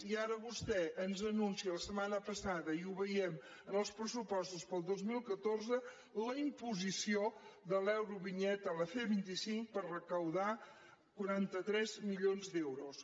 i ara vostè ens anuncia la setmana passada i ho veiem en els pressupostos per al dos mil catorze la imposició de l’eurovinyeta a la c vint cinc per recaptar quaranta tres milions d’euros